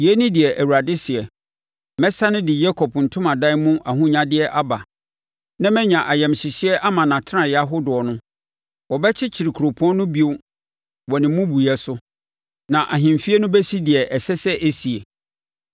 “Yei ne deɛ Awurade seɛ: “ ‘Mɛsane de Yakob ntomadan mu ahonyadeɛ aba na manya ayamhyehyeɛ ama nʼatenaeɛ ahodoɔ no; wɔbɛkyekyere kuropɔn no bio wɔ ne mmubuiɛ so, na ahemfie no bɛsi deɛ ɛsɛ sɛ ɛsie.